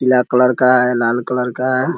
पीला कलर है लाल कलर का है ।